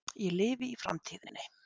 Ég lifi í framtíðinni.